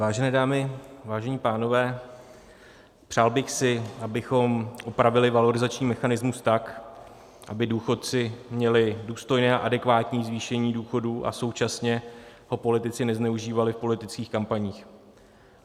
Vážené dámy, vážení pánové, přál bych si, abychom opravili valorizační mechanismus tak, aby důchodci měli důstojné a adekvátní zvýšení důchodu a současně ho politici nezneužívali v politických kampaních.